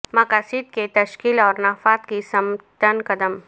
مقاصد کی تشکیل اور نفاذ کی سمت چند قدم